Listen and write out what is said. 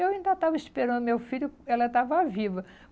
Eu ainda estava esperando meu filho, ela estava viva.